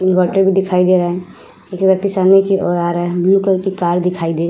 inverter भी दिखाई दे रहा है एक व्यक्ति सामने की ओर आ रहा है ब्लू कलर की कार भी दिखाई दे --